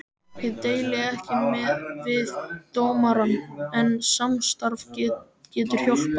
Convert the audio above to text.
Ég deili ekki við dómarann, en samstarf getur hjálpað.